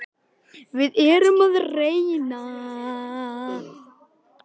Sölvi: En af hverju voru þessi gögn send til Styrmis?